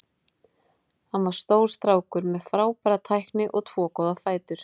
Hann var stór strákur með frábæra tækni og tvo góða fætur.